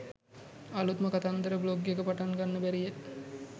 අළුත්ම කතන්දර බ්ලොග් එකක් පටන් ගන්න බැරියැ